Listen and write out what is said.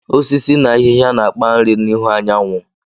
Osisi na ahịhịa na-akpa nri n'ihu anyanwụ